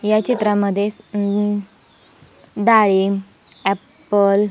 या चित्रामध्ये हम्म डाळिंब एप्पल --